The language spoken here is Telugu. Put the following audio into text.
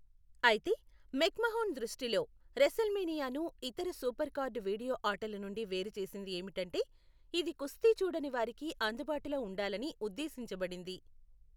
అయితే, మెక్మహోన్ దృష్టిలో, రెసల్మేనియాను ఇతర సూపర్ కార్డు వీడియో ఆటలు నుండి వేరు చేసింది ఏమిటంటే, ఇది కుస్తీ చూడని వారికి అందుబాటులో ఉండాలని ఉద్దేశించబడింది.